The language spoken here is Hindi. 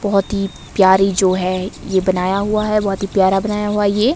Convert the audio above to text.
बहुत ही प्यारी जो है ये बनाया हुआ है बहुत ही प्यारा बनाया हुआ ये।